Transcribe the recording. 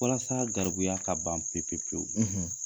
Walasaa garibuya ka ban pepepewu